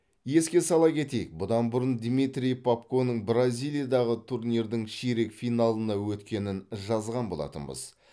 еске сала кетейік бұдан бұрын дмитрий попконың бразилиядағы турнирдің ширек финалына өткенін жазған болатынбыз